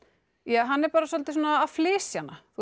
hann er bara svolítið að flysja hana